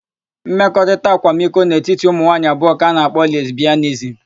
Mmekọrịta akwamiko n'etiti ụmụnwaanyị abụọ ka a na-akpọ lesbịanizim.